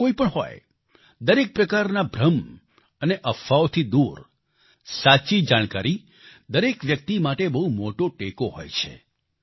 ક્ષેત્ર કોઈપણ હોય દરેક પ્રકારના ભ્રમ અને અફવાઓથી દૂર સાચી જાણકારી દરેક વ્યક્તિ માટે બહુ મોટો ટેકો હોય છે